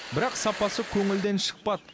бірақ сапасы көңілден шықпады